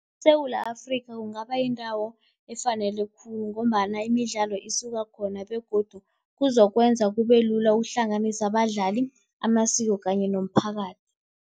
ESewula Afrika kungaba yindawo efanele khulu ngombana imidlalo isuka khona begodu kuzokwenza kube lula ukuhlanganisa abadlali, amasiko kanye nomphakathi.